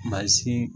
Mansin